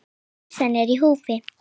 Heilsan er í húfi.